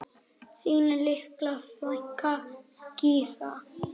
Þín litla frænka Gyða.